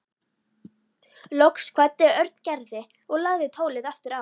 Loks kvaddi Örn Gerði og lagði tólið aftur á.